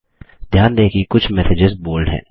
ध्यान दें कि कुछ मैसेजेस बोल्ड हैं